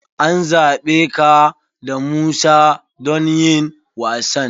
An zaɓe ka da Musa don yin wasan.